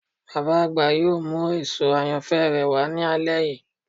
Baba agba yoo mu eso ayanfẹ rẹ wa ni alẹ yii